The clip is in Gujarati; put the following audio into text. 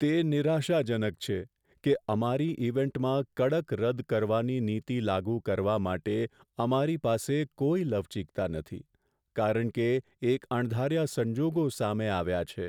તે નિરાશાજનક છે કે અમારી ઈવેન્ટમાં કડક રદ કરવાની નીતિ લાગુ કરવા માટે અમારી પાસે કોઈ લવચીકતા નથી, કારણ કે એક અણધાર્યા સંજોગો સામે આવ્યા છે.